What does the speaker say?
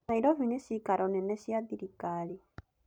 Nairobi nĩ ciikaro nene cia thirikari.